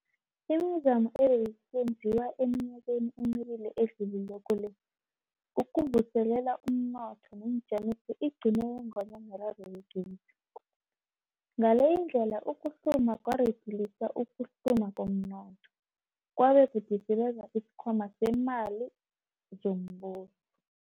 Imizamo ebeyisenziwa eminyakeni emibili edlulileko le ukuvuselela umnotho neenjamiso igcine yenganywa miraro yegezi, ngaleyindlela ukuhluma kwaridilisa ukuhluma komnotho, kwabe kwadisibeza isikhwama seemali zombuso.